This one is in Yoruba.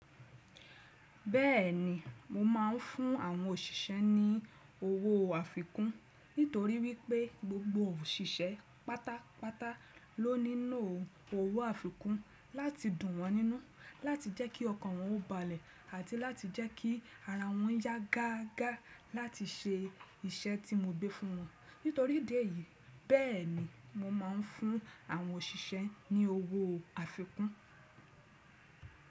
Bẹ́ẹ̀ ni mo máa ń fún àwọn òṣìṣẹ́ ní owó àfikún nítorí wípé gbogbo òṣìṣẹ́ pátápátá ló ní owó àfikún láti dùn wọ́n nínú, láti jẹ́ kí ọkàn wọn ó balẹ̀ àti láti jẹ́ kí ara wọn yá gágá láti ṣe iṣẹ́ tí mo gbé fún wọn. Nítorí idi yìí, bẹ́ẹ̀ni mo máa ń fún àwọn òṣìṣẹ́ ní owó àfikún.